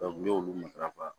n y'olu matɛrɛ